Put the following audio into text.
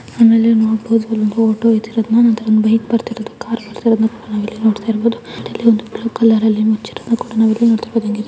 ಆಮೇಲೆ ನೋಡಬಹುದು ಇದು ರೋಡು ಇದರಲ್ಲಿ ಒಂದು ಬೈಕ್ ಬರ್ತಿರೋದು ಕಾರ್ ಬರ್ತಿರೋದನ್ನ ನಾವಿಲ್ಲಿ ನೋಡ್ತಾ ಇರ್ಬೋದು ಹಾಗೆ ಸೈಡ್ ಅಲ್ಲಿ ಒಂದು ಬ್ಲಾಕ್ ಕಲರ್ ಅಲ್ಲಿ ಏನೋ ಮುಚ್ಚಿರೋದನ್ನ ಸಹ ನಾವಿಲ್ಲಿ ನೋಡಬಹುದು --